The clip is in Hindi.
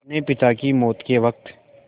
अपने पिता की मौत के वक़्त